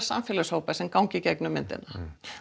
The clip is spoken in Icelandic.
samfélagshópa sem ganga í gegnum myndina